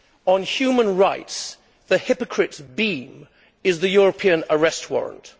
On human rights the hypocrite's beam is the European Arrest Warrant.